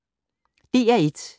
DR1